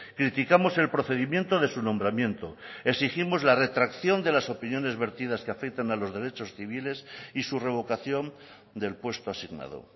criticamos el procedimiento de su nombramiento exigimos la retracción de las opiniones vertidas que afectan a los derechos civiles y su revocación del puesto asignado